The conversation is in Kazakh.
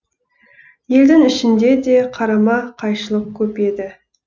елдің ішінде де қарама қайшылық көп еді